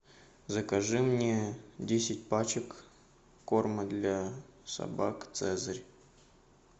закажи мне десять пачек корма для собак цезарь